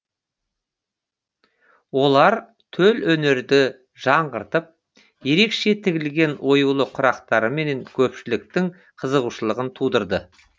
олар төл өнерді жаңғыртып ерекше тігілген оюлы құрақтарымен көпшіліктің қызығушылығын тудырды